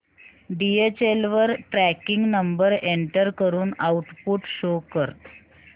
DHL वर tracking number enter करून output show कर